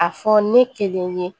A fɔ ne kelen ye